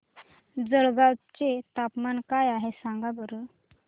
जळगाव चे तापमान काय आहे सांगा बरं